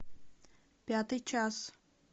пятый час